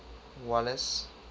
walles